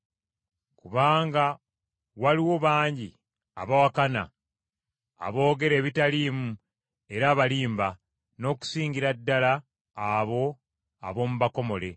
Kubanga waliwo bangi abawakana, aboogera ebitaliimu era abalimba, n’okusingira ddala abo ab’omu bakomole.